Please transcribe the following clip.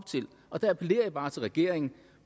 og der appellerer jeg bare til regeringen